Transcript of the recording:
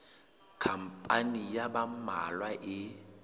khampani ya ba mmalwa e